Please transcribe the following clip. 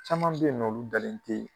caman be yen nɔ olu dalen te